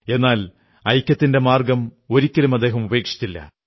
എന്നാൽ ഐക്യത്തിന്റെ മാർഗ്ഗം ഒരിക്കലും ഉപേക്ഷിച്ചില്ല